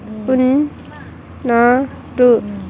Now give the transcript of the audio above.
pin నా to--